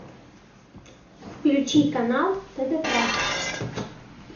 включи канал тдк